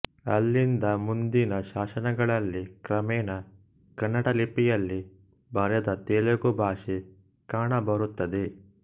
ಅಲ್ಲಿಂದ ಮುಂದಿನ ಶಾಸನಗಳಲ್ಲಿ ಕ್ರಮೇಣ ಕನ್ನಡಲಿಪಿಯಲ್ಲಿ ಬರೆದ ತೆಲುಗು ಭಾಷೆ ಕಾಣಬರುತ್ತದೆ